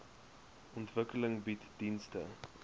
ontwikkeling bied dienste